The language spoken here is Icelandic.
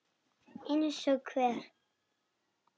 Eins og hver?